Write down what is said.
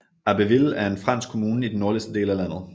Abbeville er en fransk kommune i den nordligste del af landet